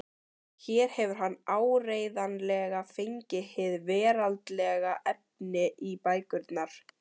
Hér hefur hann áreiðanlega fengið hið veraldlega efni í bækurnar.